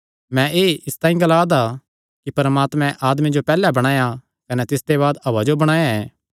मैं एह़ इसतांई ग्ला दा ऐ कि परमात्मे आदमे जो पैहल्ले बणाया कने तिसते बाद हव्वा जो बणाया ऐ